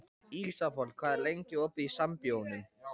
Ísafold, hvað er lengi opið í Sambíóunum?